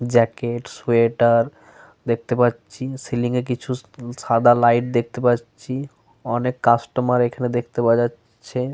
Jacket sweater দেখতে পাচ্ছি। Ceiling এ কিছু সাদা লাইট দেখতে পাচ্ছি। অনেক কাস্টমার এখানে দেখতে পাওয়া যাচ্ছে।